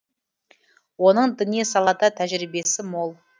оның діни салада тәжірибесі мол